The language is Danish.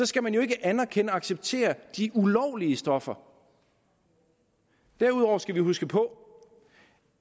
skal man jo ikke anerkende og acceptere de ulovlige stoffer derudover skal vi huske på